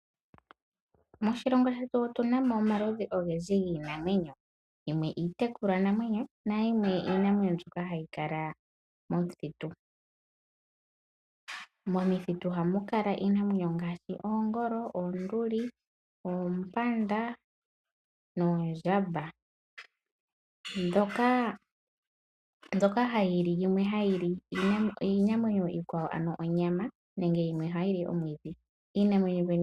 Moshilongo shetu otunamo omaludhi ogendji giinamwenyo ,yimwe iitekulwanamwenyo nayimwe iinamwenyo mbyoka hayi kala mokuti. Mokuti ohamu kala iinamwenyo ngaashi oongolo, oonduli, oompanda noondjamba. mbyoka yimwe hayili iinamwenyo iikwawo ano oonyama yo yimwe ohayili omwiidhi.